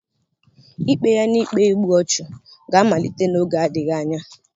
Ikpe ya na ikpe igbu ọchụ ga-amalite n'oge na-adịghị anya